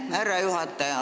Aitäh, härra juhataja!